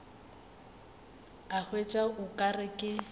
a hwetša o ka re